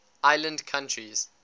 island countries